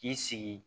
K'i sigi